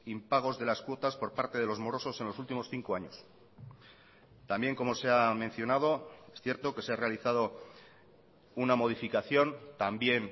impagos de las cuotas por parte de los morosos en los últimos cinco años también como se ha mencionado es cierto que se ha realizado una modificación también